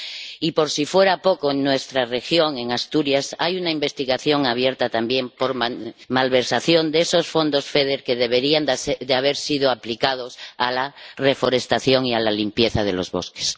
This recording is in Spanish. Y por si fuera poco, en nuestra región, en Asturias, hay una investigación abierta también por malversación de los fondos del FEDER que deberían haber sido destinados a la reforestación y a la limpieza de los bosques.